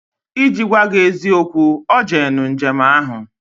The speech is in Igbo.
Iji gwa gi eziokwu, O jenu njem ahu